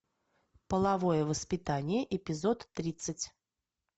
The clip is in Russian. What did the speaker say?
половое воспитание эпизод тридцать